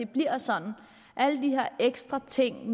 bliver sådan at alle de her ekstra ting